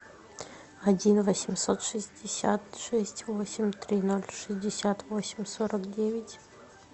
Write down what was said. один восемьсот шестьдесят шесть восемь три ноль шестьдесят восемь сорок девять